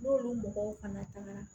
N'olu mɔgɔw fana tagara